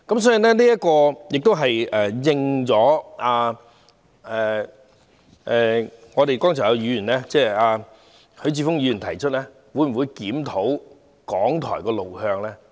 所以，這正正是剛才許智峯議員提出的，會否檢討港台的路向？